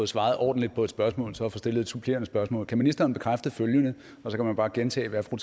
svaret ordentligt på et spørgsmål så at få stillet et supplerende spørgsmål kan ministeren bekræfte følgende og så kan man bare gentage hvad fru